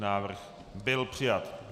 Návrh byl přijat.